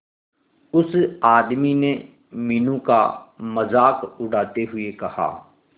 उस आदमी ने मीनू का मजाक उड़ाते हुए कहा